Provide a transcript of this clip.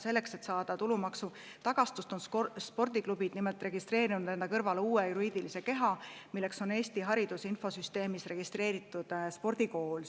Selleks, et saada tulumaksu tagastust, on spordiklubid nimelt registreerinud kõrvale uue juriidilise keha, Eesti hariduse infosüsteemis registreeritud spordikooli.